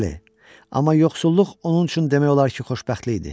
Bəli, amma yoxsulluq onun üçün demək olar ki, xoşbəxtlik idi.